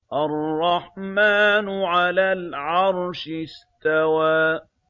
الرَّحْمَٰنُ عَلَى الْعَرْشِ اسْتَوَىٰ